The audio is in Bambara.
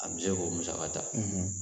A bɛ se k'o musaka ta